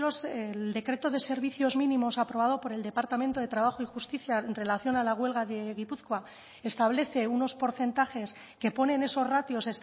el decreto de servicios mínimos aprobado por el departamento de trabajo y justicia en relación a la huelga de gipuzkoa establece unos porcentajes que ponen esos ratios